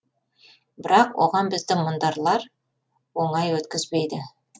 бірақ оған бізді мұндарлар оңай өткізбейді